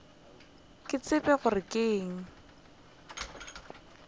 ke tsebe gore ke eng